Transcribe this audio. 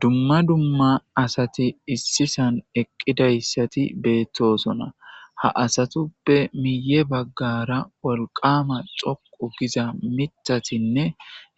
Dumma dumma asati issi saan eqqidaysati beetosona. Ha asatuppe miiye baggara wolqama dhoqqu giza miththatinne